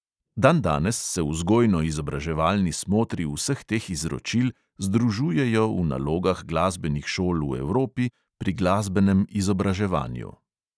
Dandanes se vzgojno-izobraževalni smotri vseh teh izročil združujejo v nalogah glasbenih šol v evropi pri glasbenem izobraževanju.